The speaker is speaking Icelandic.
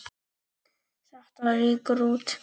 Þetta rýkur út.